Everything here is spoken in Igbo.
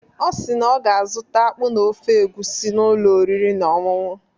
Ọ na ọ ga-azụta akpụ na ofe egwusi n’ụlọ oriri na ọñụñụ.